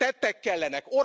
Tettek kellenek!